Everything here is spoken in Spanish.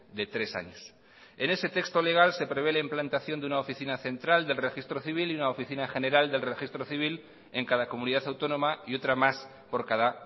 de tres años en ese texto legal se prevé la implantación de una oficina central del registro civil y una oficina general del registro civil en cada comunidad autónoma y otra más por cada